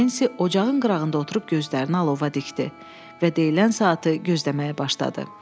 Nensi ocağın qırağında oturub gözlərini alova dikdi və deyilən saatı gözləməyə başladı.